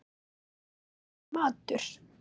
Honum var fenginn matur.